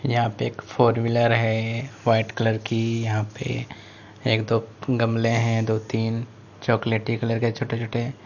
यहां पे एक फोर व्हीलर है वाइट कलर की यहां पे एक दो गमले है दो तीन चॉकलेटी कलर के छोटे छोटे।